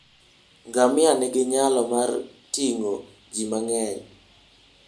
Ngamia nigi nyalo mar ting'o ji mang'eny.